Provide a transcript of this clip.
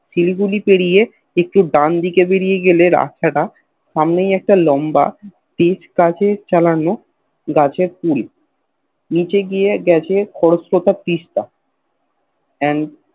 শিলিগুড়ি পেরিয়ে একটু ডান দিকে বেরিয়ে গেলে রাস্তা টা সামনেই একটা লম্বা পিচ কচি চালানো গাছের গুড়ি নিচে দিয়ে গেছে খড়ষ্টটা তিস্তা and